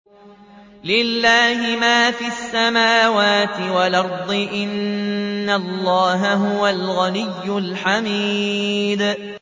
لِلَّهِ مَا فِي السَّمَاوَاتِ وَالْأَرْضِ ۚ إِنَّ اللَّهَ هُوَ الْغَنِيُّ الْحَمِيدُ